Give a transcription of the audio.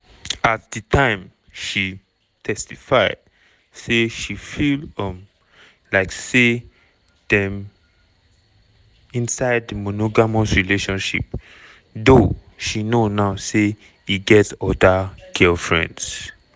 at di time she testify say she feel um like say dem inside monogamous relationship though she know now say e get oda girlfriends.